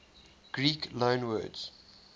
greek loanwords